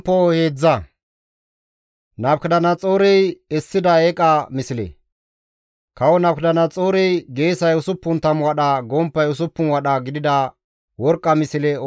Kawo Nabukadanaxoorey geesay 60 wadha, gomppay 6 wadha gidida worqqa misle oosisidi Baabiloone deren Duura demban essides.